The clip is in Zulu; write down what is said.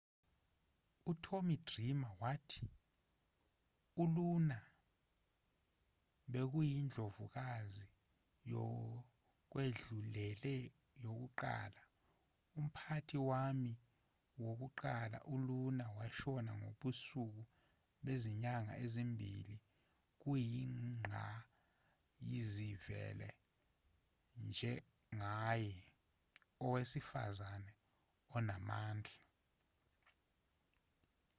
utommy dreamer wathi uluna bekuyindlovukazi yokwedlulele yokuqala umphathi wami wokuqala uluna washona ngobusuku bezinyanga ezimbili kuyingqayizivele njengaye owesifazane onamandla